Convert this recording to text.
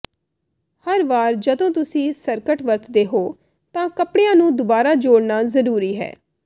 ਹਰ ਵਾਰ ਜਦੋਂ ਤੁਸੀਂ ਸਕਰਟ ਵਰਤਦੇ ਹੋ ਤਾਂ ਕੱਪੜਿਆਂ ਨੂੰ ਦੁਬਾਰਾ ਜੋੜਨਾ ਜ਼ਰੂਰੀ ਹੈ